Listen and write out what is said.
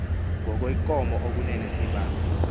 ngokwenkomo okunene sibambe